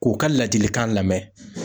K'u ka ladilikan lamɛn.